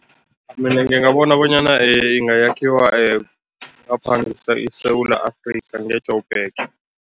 Mina ngingabona bonyana ingayakhiwa ngapha iSewula Afrika, nge-Joburg.